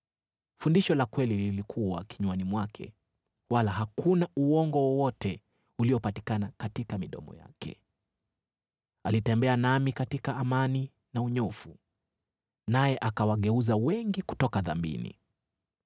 Fundisho la kweli lilikuwa kinywani mwake, wala hakuna uongo wowote uliopatikana katika midomo yake. Alitembea nami katika amani na unyofu, naye akawageuza wengi kutoka dhambini.